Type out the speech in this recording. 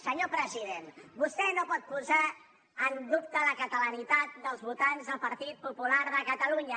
senyor president vostè no pot posar en dubte la catalanitat dels votants del partit popular de catalunya